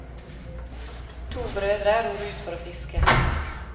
To brødre ror ut for å fiske.